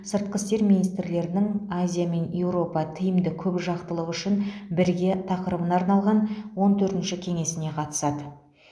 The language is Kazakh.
сыртқы істер министрлерінің азия мен еуропа тиімді көпжақтылық үшін бірге тақырыбына арналған он төртінші кеңесіне қатысады